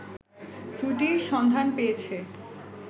ত্রুটির সন্ধান পেয়েছে